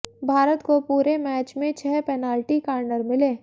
भारत को पूरे मैच में छह पेनाल्टी कार्नर मिले